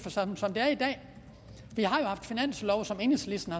vi har jo haft finanslove som enhedslisten